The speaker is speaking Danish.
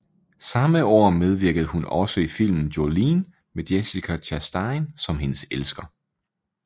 Samme år medvirkede hun også i filmen Jolene med Jessica Chastain som hendes elsker